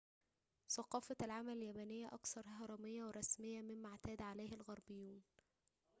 ثقافة العمل اليابانية أكثر هرمية ورسمية مما اعتاد عليه الغربيون